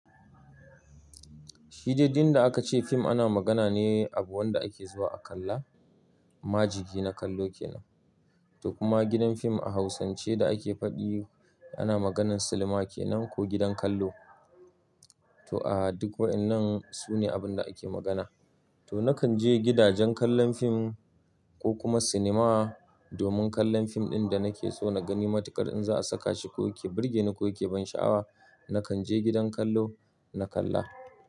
Shidai duk yanda a ka ce fim ana magana ne abun da ake zuwa a kalla, majigi na kallo kenan. To kuma gidan fim a hausance da ake fadi ana maganan silima kenan ko gidan kallo. To a duk wa'inan sune abun da ake magana. To na kan je gidajen kallon fim ko kuma cinema domin kallon fim ɗin da na ke so na gani matuƙar in za a saka shi ko yake burge ni ko yake ban sha'awa. Na kan je gidan kallo na kalla.